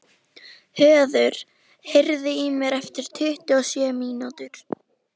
Höður, heyrðu í mér eftir tuttugu og sjö mínútur.